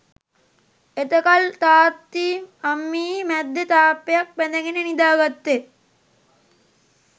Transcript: එතකල් තාත්තියි අම්මියි මැද්දෙ තාප්පයක් බැඳගෙන නිදාගත්තෙ